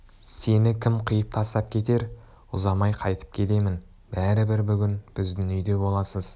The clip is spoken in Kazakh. сені кім қиып тастап кетер ұзамай қайтып келемін бәрібір бүгін біздің үйде боласыз